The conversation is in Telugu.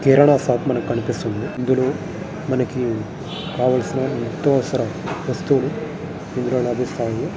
ఇక్కడ ఒక అపార్ట్మెంట్ కనిపిస్తుంది. ఇందులో మనకి కావలసిన నిత్య అవసర వస్తువులు ఇందులో లభిస్తాయి.